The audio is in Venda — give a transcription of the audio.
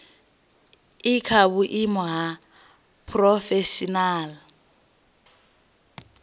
i kha vhuimo ha phurofeshinala